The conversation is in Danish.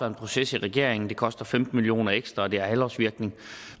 en proces i regeringen det koster femten million kroner ekstra og det har halvårs virkning